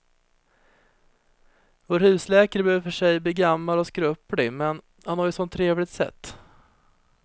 Vår husläkare börjar i och för sig bli gammal och skröplig, men han har ju ett sådant trevligt sätt!